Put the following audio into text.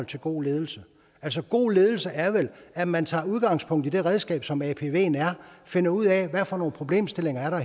til god ledelse altså god ledelse er vel at man tager udgangspunkt i det redskab som apven er og finder ud af hvad for nogle problemstillinger der